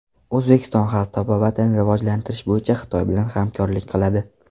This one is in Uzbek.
O‘zbekiston xalq tabobatini rivojlantirish bo‘yicha Xitoy bilan hamkorlik qiladi.